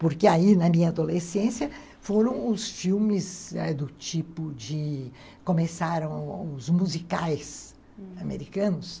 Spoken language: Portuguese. Porque aí, na minha adolescência, foram os filmes ãh do tipo de... Começaram os musicais americanos, hum.